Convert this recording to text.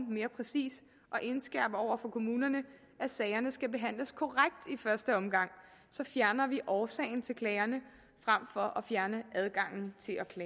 mere præcist og indskærpe over for kommunerne at sagerne skal behandles korrekt i første omgang så fjerner vi årsagen til klagerne frem for at fjerne adgangen